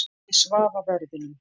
Ég svaf á verðinum.